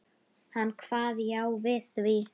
Hann kvað já við því.